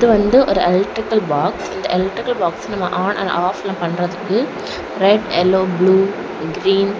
இது வந்து ஒரு எலக்ட்ரிக்கல் பாக்ஸ் இந்த எலக்ட்ரிக்கல் பாக்ஸ் நம்ம ஆன் அண்ட் ஆஃப்ல பண்றதுக்கு ரெட் எல்லோ ப்ளூ கிரீன்